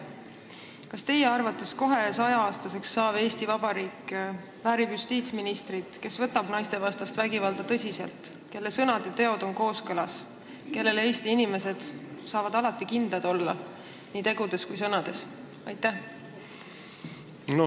Kas teie arvates kohe 100-aastaseks saav Eesti Vabariik väärib justiitsministrit, kes võtab naistevastast vägivalda tõsiselt, kelle sõnad ja teod on kooskõlas, kellele Eesti inimesed saavad alati kindlad olla, olgu tegu tema sõnade või tegudega?